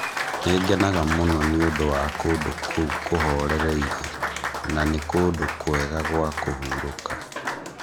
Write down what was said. Nĩ ngenaga mũno nĩ ũndũ wa kũndũ kũu kũhorereire, na nĩ kũndũ kwega gwa kũhurũka